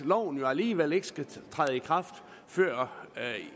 loven jo alligevel ikke skal træde i kraft før